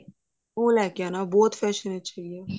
ਉਹ ਲੈਕੇ ਆਉਣਾ ਬਹੁਤ fashion ਵਿੱਚ ਹੈਗੀ ਆ